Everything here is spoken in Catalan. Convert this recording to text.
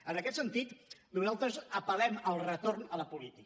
en aquest sentit nosaltres apel·lem al retorn a la política